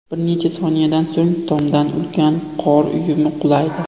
Bir necha soniyadan so‘ng tomdan ulkan qor uyumi qulaydi.